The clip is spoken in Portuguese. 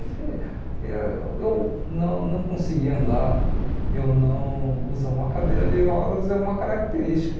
E se e eu não não conseguir andar, eu não usar uma cadeira de rodas é uma característica.